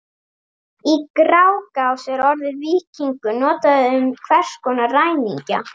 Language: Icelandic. Í Grágás er orðið víkingur notað um hvers konar ræningja.